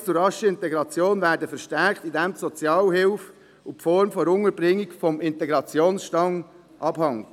Anreize zur raschen Integration werden verstärkt, indem die Sozialhilfe und die Form der Unterbringung vom Integrationsstand abhängen.